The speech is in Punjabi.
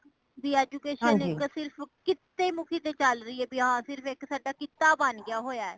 ਵੀ education ਇਕ ਸਿਰਫ ਕੀਤੇ ਮੁੱਖੀ ਤੇ ਚਲ ਰਹੀ ਏ ਕੀ ਭਈ ਹਾ ਕੀ ਇਕ ਸਾਡਾ ਕੀਤਾ ਬਾਨ ਗਿਆ ਹੋਇਆ